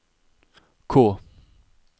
K